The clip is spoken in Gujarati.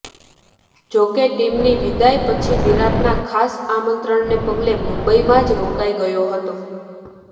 જોકે ટીમની વિદાય પછી વિરાટના ખાસ આમંત્રણને પગલે મુંબઈમાં જ રોકાઈ ગયો હતો